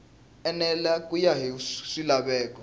enela ku ya hi swilaveko